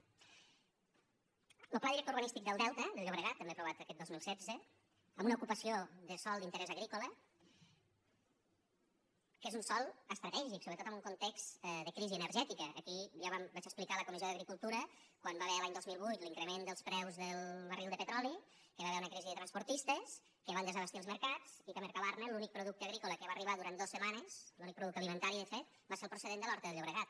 lo pla director urbanístic del delta del llobregat també aprovat aquest dos mil setze amb una ocupació de sòl d’interès agrícola que és un sòl estratègic sobretot en un context de crisi energètica aquí ja vaig explicar a la comissió d’agricultura quan hi va haver l’any dos mil vuit l’increment dels preus del barril de petroli que hi va haver una crisi de transportistes que van desabastir els mercats i que a mercabarna l’únic producte agrícola que hi va arribar durant dos setmanes l’únic producte alimentari de fet va ser el procedent de l’horta del llobregat